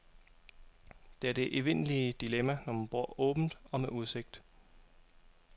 Det er det evindelige dilemma, når man bor åbent og med udsigt.